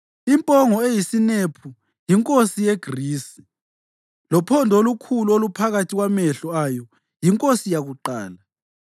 Impongo eyisinephu yinkosi yeGrisi, lophondo olukhulu oluphakathi kwamehlo ayo yinkosi yakuqala.